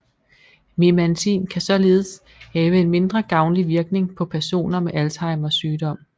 Memantin kan således have en mindre gavnlig virkning på personer med Alzheimers sygdom